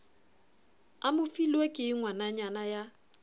a mofilwe ke ngwananyana ya